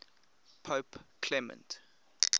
pope clement